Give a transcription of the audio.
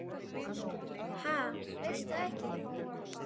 Ha, veistu það ekki?